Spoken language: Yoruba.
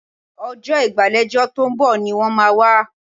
Ọjọ́ ìgbàlejò tó ń bọ̀ ni wọ́n máa wá